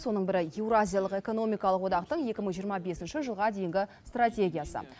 соның бірі еуразиялық экономикалық одақтың екі мың жиырма бесінші жылға дейінгі стратегиясы